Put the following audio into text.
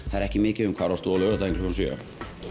það er ekki mikið um hvar varst þú á laugardaginn klukkan sjö